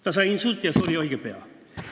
Ta sai insuldi ja suri õige pea.